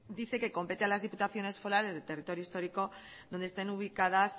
dice que compete a las diputaciones forales del territorio histórico donde estén ubicadas